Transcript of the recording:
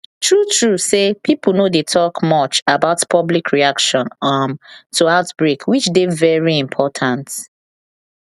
true true say pipo no dey talk much about public reaction um to outbreak which dey very important